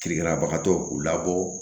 Kirikirabagatɔw u labɔ